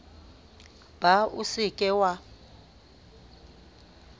ba o se ke wa